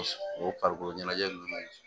O farikolo ɲɛnajɛ nunnu na